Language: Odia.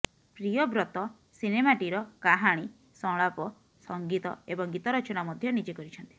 ପ୍ରିୟବ୍ରତ ସିନେମାଟିର କାହାଣୀ ସଂଳାପ ସଙ୍ଗୀତ ଏବଂ ଗୀତ ରଚନା ମଧ୍ୟ ନିଜେ କରିଛନ୍ତି